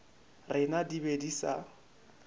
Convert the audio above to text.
rena di be di sa